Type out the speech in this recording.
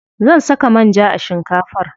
Zan saka manja a shinkafar.